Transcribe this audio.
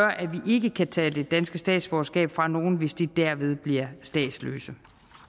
ikke kan tage det danske statsborgerskab fra nogen hvis de derved bliver statsløse